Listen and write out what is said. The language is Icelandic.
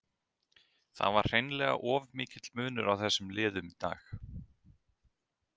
Það var hreinlega of mikill munur á þessum liðum í dag.